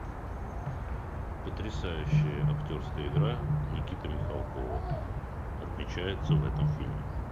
потрясающая актерская игра никиты михалкова отмечается в этом фильме